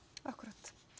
akkúrat